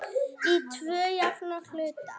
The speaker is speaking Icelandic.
Í tvo jafna hluta.